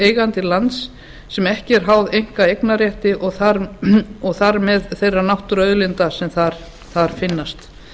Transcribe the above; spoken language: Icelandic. eigandi lands sem ekki er háð einkaeignarrétti og þar með þeirra náttúruauðlinda sem þar finnast